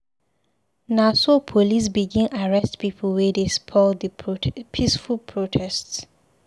Na so police begin arrest pipu wey dey spoil di peaceful protest.